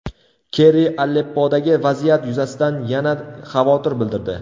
Kerri Aleppodagi vaziyat yuzasidan yana xavotir bildirdi.